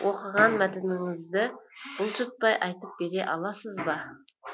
оқыған мәтініңізді бұлжытпай айтып бере аласыз ба